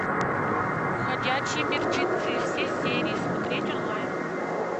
ходячие мертвецы все серии смотреть онлайн